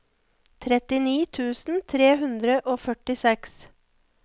trettini tusen tre hundre og førtiseks